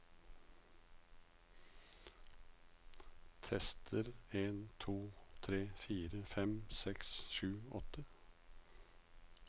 Tester en to tre fire fem seks sju åtte